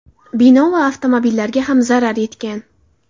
Bino va avtomobillarga ham zarar yetgan.